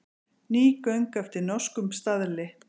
Ný göng eftir norskum staðli